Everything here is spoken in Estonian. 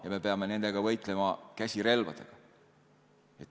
Ja me peame nendega võitlema käsirelvadega.